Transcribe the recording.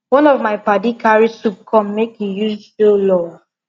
one of my padi carry soup come make im use show love